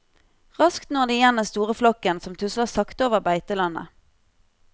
Raskt når de igjen den store flokken som tusler sakte over beitelandet.